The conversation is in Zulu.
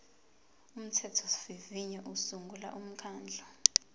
umthethosivivinyo usungula umkhandlu